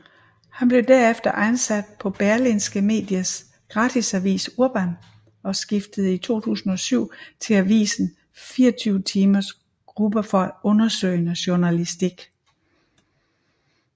Han blev derefter ansat på Berlingske Medias gratisavis Urban og skiftede i 2007 til avisen 24timers gruppe for undersøgende journalistik